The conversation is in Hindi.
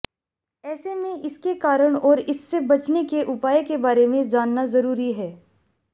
ऐसे में इसके कारण और इससे बचने के उपाय के बारे में जानना जरूरी है